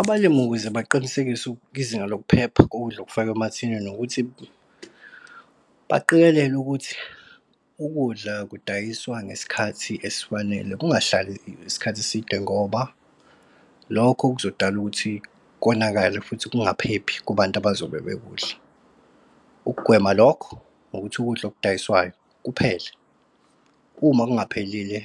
Abalimi ukuze baqinisekise kwizinga lokuphepha kokudla okufakwa emathinini ukuthi baqikelele ukuthi ukudla kudayiswa ngesikhathi esifanele kungahlali isikhathi eside, ngoba lokho kuzodala ukuthi konakale futhi kungaphephi kubantu abazobe bekudla. Ukugwema lokho ukuthi ukudla okudayiswayo kuphele, uma kungaphelile